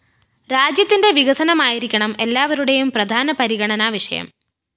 രാജ്യത്തിന്റെ വികസനമായിരിക്കണം എല്ലാവരുടേയും പ്രധാന പരിഗണനാ വിഷയം